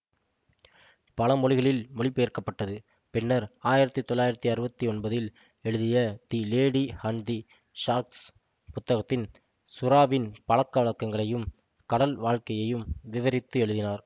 பல மொழிகளில் மொழிபெயர்க்கப்பட்டது பின்னர் ஆயிரத்தி தொள்ளாயிரத்தி அறுபத்தி ஒன்பதில் எழுதிய the lady and the sharks புத்தகத்தில் சுறாவின் பழக்கவழக்கங்களையும் கடல் வாழ்கையையும் விவரித்து எழுதினார்